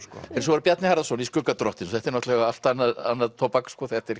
svo er það Bjarni Harðarson í skugga drottins þetta er náttúrulega allt annað annað tóbak sko þetta er